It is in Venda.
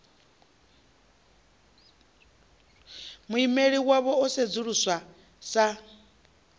muimeli wavho o sedzuluswa sa